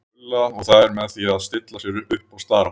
Gulla og þær með því að stilla sér upp og stara á þau.